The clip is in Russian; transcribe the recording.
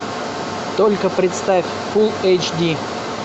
только представь фул эйч ди